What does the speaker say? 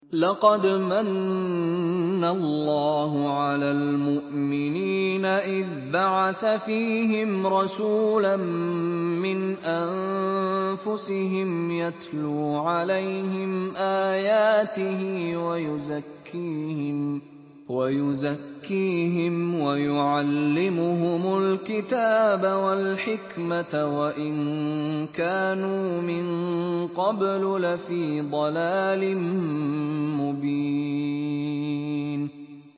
لَقَدْ مَنَّ اللَّهُ عَلَى الْمُؤْمِنِينَ إِذْ بَعَثَ فِيهِمْ رَسُولًا مِّنْ أَنفُسِهِمْ يَتْلُو عَلَيْهِمْ آيَاتِهِ وَيُزَكِّيهِمْ وَيُعَلِّمُهُمُ الْكِتَابَ وَالْحِكْمَةَ وَإِن كَانُوا مِن قَبْلُ لَفِي ضَلَالٍ مُّبِينٍ